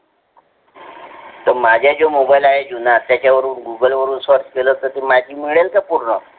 तर माझे ज्या mobile आहेत जुन्‍हा त्‍याचे वरुण google वरूण search केला हो तर ती महिती मेलिल का पूर्णा?